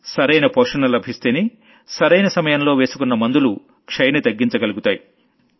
సరైన పోషణ లభిస్తేనే సరైన సమయంలో వేసుకున్న మందులు టీబీని తగ్గించగలుగుతాయి